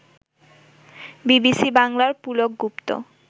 BBC বাংলার পুলক গুপ্ত